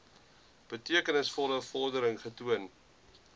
betekenisvolle vordering getoon